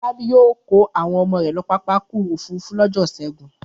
Fọlábí yóò kó àwọn ọmọ rẹ̀ lọ pápá ọkọ̀-òfurufú lọ́jọ́ ìṣẹ́gun!